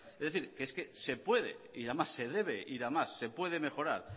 es decir es que se puede y se debe ir a más se puede mejorar